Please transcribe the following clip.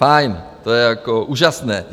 Fajn, to je jako úžasné.